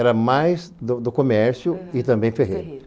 Era mais do do comércio e também ferreiro. Ferreiro